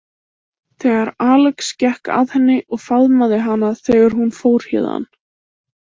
Þegar Alex gekk að henni og faðmaði hana þegar hún fór héðan.